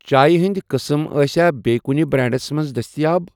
چایہِ ہِنٛدؠ قٕسٕم آسیا بییٚہِ کُنہِ بریٚنڑَس مَنٛز دٔستِیاب؟